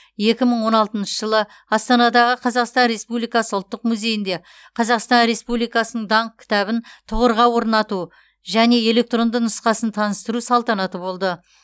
екі мың он алтыншы жылы астанадағы қазақстан республикасы ұлттық музейінде қазақстан республикасының даңқ кітабын тұғырға орнату және электронды нұсқасын таныстыру салтанаты болды